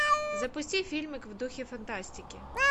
запусти фильмик в духе фантастики